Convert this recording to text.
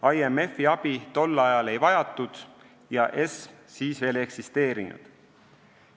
IMF-i abi tol ajal ei vajatud ja ESM siis veel ei eksisteerinud.